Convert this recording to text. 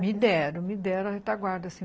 Me deram, me deram a retaguarda.